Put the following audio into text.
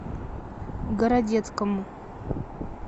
городецкому